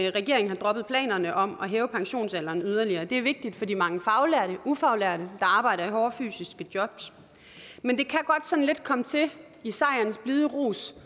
at regeringen har droppet planerne om at hæve pensionsalderen yderligere det er vigtigt for de mange faglærte og ufaglærte der arbejder i hårde fysiske jobs men i sejrens blide rus